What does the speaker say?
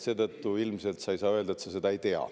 Seetõttu ilmselt sa ei saa öelda, et sa seda ei tea.